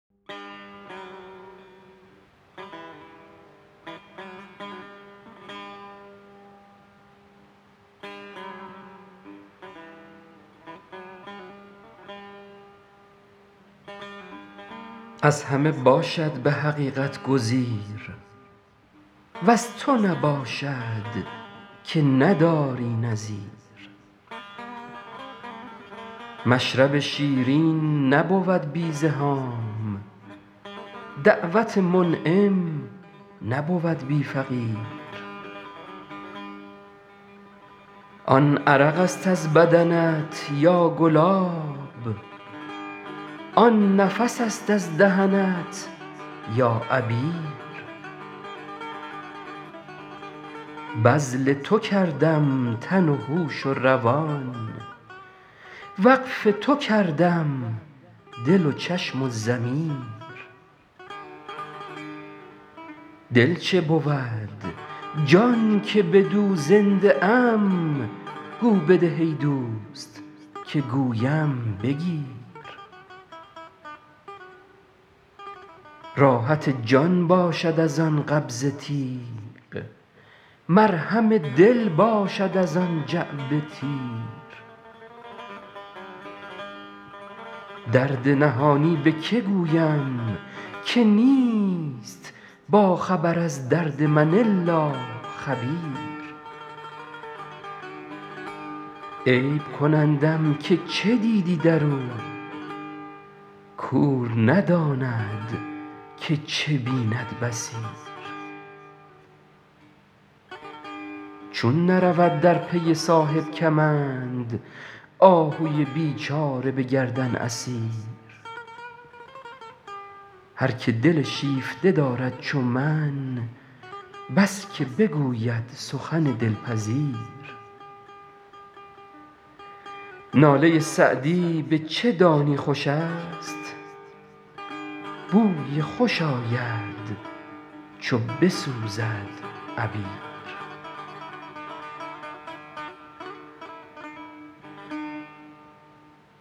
از همه باشد به حقیقت گزیر وز تو نباشد که نداری نظیر مشرب شیرین نبود بی زحام دعوت منعم نبود بی فقیر آن عرق است از بدنت یا گلاب آن نفس است از دهنت یا عبیر بذل تو کردم تن و هوش و روان وقف تو کردم دل و چشم و ضمیر دل چه بود جان که بدو زنده ام گو بده ای دوست که گویم بگیر راحت جان باشد از آن قبضه تیغ مرهم دل باشد از آن جعبه تیر درد نهانی به که گویم که نیست باخبر از درد من الا خبیر عیب کنندم که چه دیدی در او کور نداند که چه بیند بصیر چون نرود در پی صاحب کمند آهوی بیچاره به گردن اسیر هر که دل شیفته دارد چو من بس که بگوید سخن دلپذیر ناله سعدی به چه دانی خوش است بوی خوش آید چو بسوزد عبیر